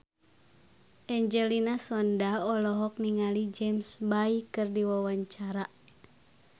Angelina Sondakh olohok ningali James Bay keur diwawancara